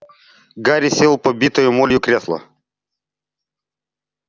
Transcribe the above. гарри сел в побитое молью кресло